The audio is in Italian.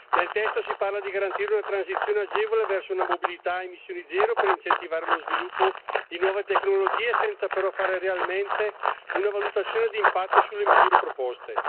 Nel testo si parla di garantire una transizione agevole verso una mobilità a emissioni zero per incentivare lo sviluppo di nuove tecnologie, senza però fare realmente una valutazione di impatto sulle misure proposte.